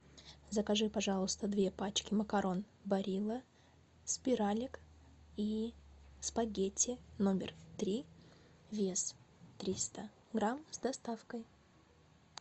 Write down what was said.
закажи пожалуйста две пачки макарон барилла спиралек и спагетти номер три вес триста грамм с доставкой